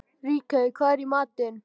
Ríkey, hvað er í matinn?